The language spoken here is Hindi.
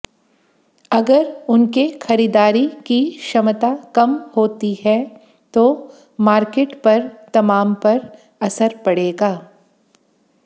अगर उनके खरीदारी की क्षमता कम होती है तो मार्केट पर तमाम पर असर पड़ेगा